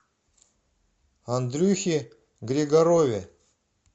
андрюхе григорове